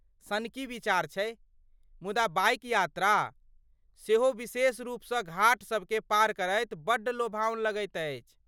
सनकी विचार छै, मुदा बाइक यात्रा, सेहो विशेष रूपसँ घाट सबकेँ पार करैत बड्ड लोभाओन लगैत अछि।